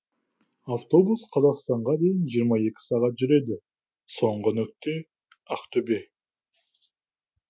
автобус қазақстанға дейін жиырма екі сағат жүреді соңғы нүкте ақтөбе